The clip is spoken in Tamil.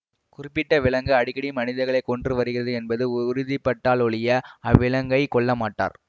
குறிப்பிட்ட விலங்கு அடிக்கடி மனிதர்களை கொன்று வருகிறது என்பது உறுதிப்பட்டாலொழிய அவ்விலங்கைக் கொல்ல மாட்டார்